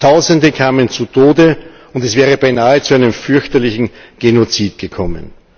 Tausende kamen zu Tode, und es wäre beinahe zu einem fürchterlichen Genozid gekommen.